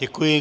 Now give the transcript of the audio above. Děkuji.